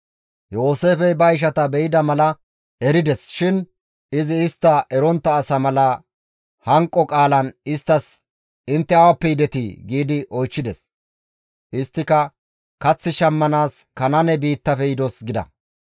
Yooseefey ba ishata be7ida mala erides shin izi istta erontta asa mala hanqo qaalan istta, «Intte awappe yidetii?» gi oychchides. Isttika, «Kath shammanaas, Kanaane biittafe yidos» gida.